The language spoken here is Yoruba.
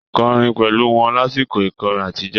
Kọrin pẹ̀lú wọn lásìkò ìkọrin àtijọ́.